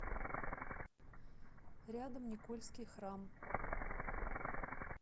рядом никольский храм